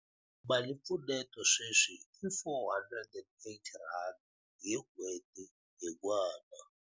Malimpfuneto sweswi i R480 hi n'hweti hi n'wana.